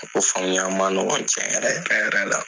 ma nɔgɔ cɛ yɛrɛ yɛrɛ la.